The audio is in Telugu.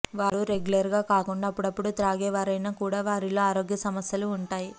వారు రెగ్యులర్ గా కాకుండా అప్పుడప్పుడూ త్రాగేవారైన కూడా వారిలో ఆరోగ్యం సమస్యలు ఉంటాయి